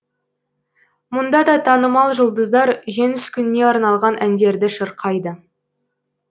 мұнда да танымал жұлдыздар жеңіс күніне арналған әндерді шырқайды